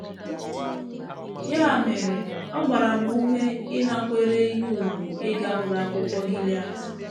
Ya mere ọ gbara m ume ịnakwere ihe ùgwù ịga Ụlọ Akwụkwọ Gilead.